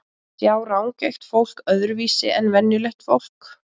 Sjá rangeygt fólk öðruvísi en venjulegt fólk?